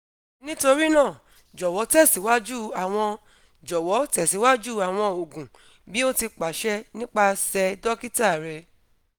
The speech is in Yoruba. nitorinaa jọwọ tẹsiwaju awọn jọwọ tẹsiwaju awọn oogun bi o ti paṣẹ nipasẹ dokita rẹ